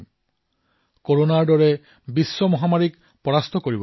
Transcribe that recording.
কৰোনাৰ দৰে বিশ্বজনীন মহামাৰীক পৰাস্ত কৰিব পাৰিম